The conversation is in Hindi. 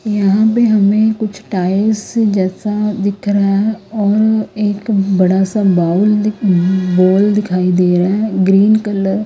यहां पे हमें कुछ टाइल्स जैसा दिख रहा है और एक बड़ा सा बाउल एक बॉल दिखाई दे रहा है ग्रीन कलर --